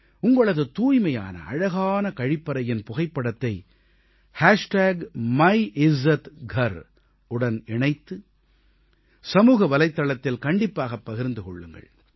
உங்களது தூய்மையான அழகான கழிப்பறையின் புகைப்படத்தை மியிஸ்ஸாத்கார் உடன் இணைத்து சமூக வலைத்தளத்தில் கண்டிப்பாக பகிர்ந்து கொள்ளுங்கள்